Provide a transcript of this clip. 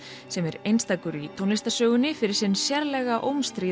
sem er einstakur í tónlistarsögunni fyrir sinn sérlega